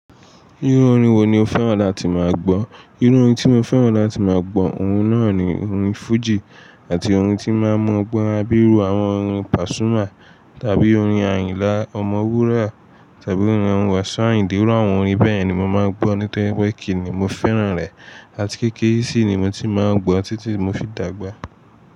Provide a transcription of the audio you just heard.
Irú orin wo ni o fẹ́ràn láti máa gbọ́? Irú orin tí mo fẹ́ràn láti máa gbọ́, ohun náà ni orin fújì àti orin tí n máa mú ọgbọ́n wá bí irú àwọn orin pasuma tàbí orin Ayinla Ọmọwura tàbí orin àwọn Wasiu Ayinde àwọn orin bẹ́ẹ̀ ni mo máa ń gbọ́ nítorí pé kìíní mo fẹ́ràn rẹ̀ àti kéékèèké sí ni mo ti máa ń gbọ́ títí mo fi dàgbà.